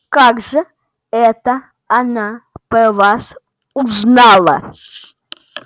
как же это она про вас узнала